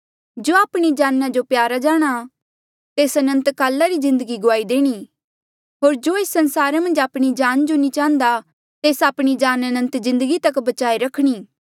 जो आपणी जाना जो प्यारा जाणहां तेस अनंतकाला री जिन्दगी गुआई देणी होर जो एस संसारा मन्झ आपणी जान जो नी चाह्न्दा तेस आपणी जान अनंत जिन्दगी तक बचाई किन्हें रखणी